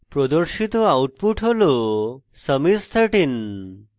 প্রদর্শিত output হল sum is 13